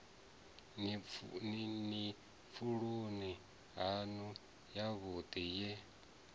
ni pfuloni yanu yavhudi ye